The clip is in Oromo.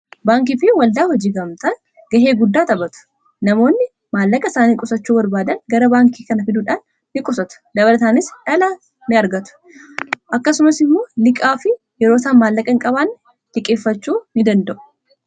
baankii fi waldaa hojii gamtaa gahee guddaa xabatu namoonni maallaqa isaanii qusachuu barbaadan gara baankii kana fiduudhaan ni qusatu dabarataanis dhala ni argatu akkasumas immoo liqaa fi yeroo sa maallaqa in qabaan dhiqeeffachuu ni danda'u